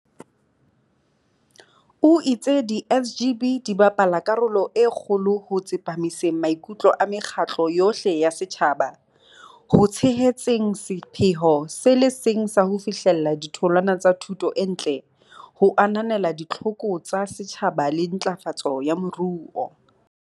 O itse di SGB di bapala karolo e kgolo ho tsepamiseng maikutlo a mekgatlo yohle ya setjhaba ho tshehetseng sepheo se le seng sa ho fihlella ditholwana tsa thuto e ntle ho ananela ditlhoko tsa setjhaba le ntlafatso ya moruo.